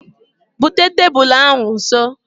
Bute tebulu ahụ nso